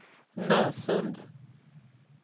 Nösund